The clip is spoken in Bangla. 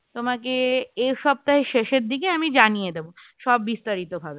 তোমাকে এ সপ্তাহের শেষের দিকে আমি জানিয়ে দেবো সব বিস্তারিত ভাবে